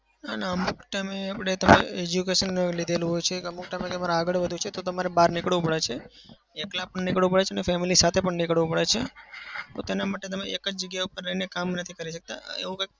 ના ના. અમુક time એ આપણે education લીધેલું હોય છે. અમુક time આગળ વધવું હોય તો તમારે બહાર નીકળવું પડે છે. એકલા પણ નીકળવું પડે છે અને family સાથે પણ નીકળવું પડે છે. પોતાના માટે તમે એક જ જગ્યા પર રહીને કામ નથી કરી શકતા. એવું કંઈક